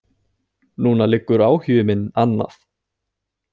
Núna liggur áhugi minn annað.